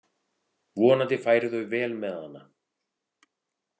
Vonandi færu þau vel með hana.